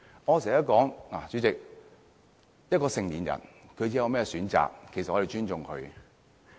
主席，我經常說，一個成年人作出甚麼選擇，我們要尊重。